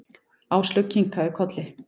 Áslaug kinkaði kolli.